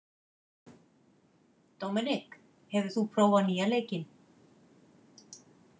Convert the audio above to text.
Dominik, hefur þú prófað nýja leikinn?